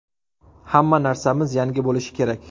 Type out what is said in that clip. Hamma narsamiz yangi bo‘lishi kerak.